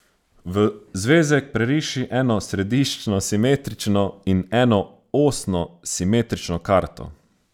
V zvezek preriši eno središčno simetrično in eno osno simetrično karto.